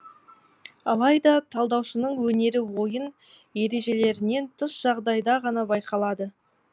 алайда талдаушының өнері ойын ережелерінен тыс жағдайда ғана байқалады